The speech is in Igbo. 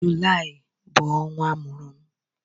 Julaị bụ ọnwa amụrụ m